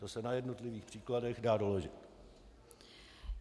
To se na jednotlivých příkladech dá doložit.